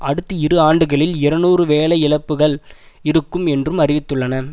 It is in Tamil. அடுத்த இரு ஆண்டுகளில் இருநூறு வேலை இழப்புக்கள் இருக்கும் என்றும் அறிவித்துள்ளன